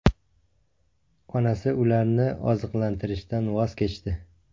Onasi ularni oziqlantirishdan voz kechdi.